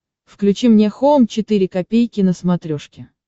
включи мне хоум четыре ка на смотрешке